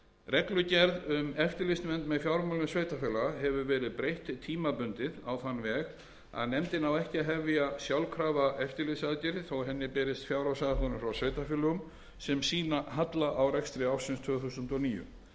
reglugerð um eftirlitsnefnd með fjármálum sveitarfélaga hefur verið breytt tímabundið á þann veg að nefndin á ekki að hefja sjálfkrafa eftirlitsaðgerðir þó að henni berist fjárhagsáætlanir frá sveitarfélögum sem sýna halla á rekstri ársins tvö þúsund og níu